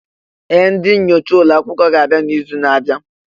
Ee! Ndị nyocha ụlọ akwụkwọ ga-abịa n'izu na-abịa.